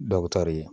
Dɔw bɛ taari